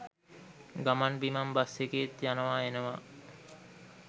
ගමන් බිමන් බස් එකේත් යනවා එනවා.